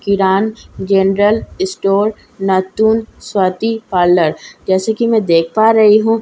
किरान general store नतुल Swati parlour जैसे कि मैं देख पा रही हूँ।